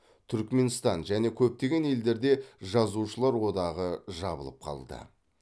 түрікменстан және көптеген елдерде жазушылар одағы жабылып қалды